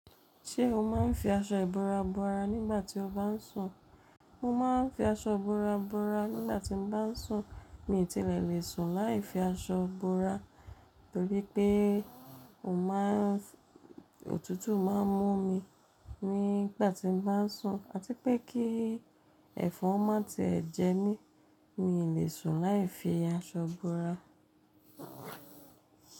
Ṣé o máa ń fi aṣọ ìbora bora nígbà tí o bá ń sùn? Mo máa ń fi aṣọ ìbora bora nígbà tí mo bá ń sùn, mi ò tí ẹ̀ lè sùn láì fi aṣọ bora, torí pé o má ń, òtútù má ń mú mi nígbà tí mo bá ń sùn, àti pé kí ẹ̀fọn má tí ì jẹ mí, mi ò lè sùn láì fi aṣọ bora.